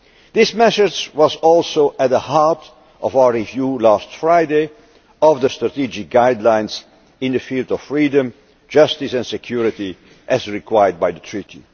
This message was also at the heart of our review last Friday of the strategic guidelines in the field of Freedom, Justice and Security, as required by the Treaty.